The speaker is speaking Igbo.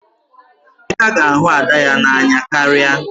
Emeka ga-ahụ Ada ya n'anya karịa.